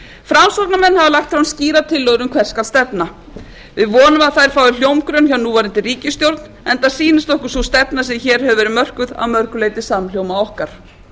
framsóknarmenn hafa lagt fram skýrar tillögur um hvert skal stefna við vonum að þær fái hljómgrunn hjá núverandi ríkisstjórn enda sýnist okkur sú stefna sem hér hefur verið mörkuð að mörgu leyti samhljóma okkar